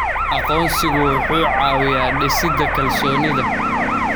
Aqoonsigu wuxuu caawiyaa dhisidda kalsoonida.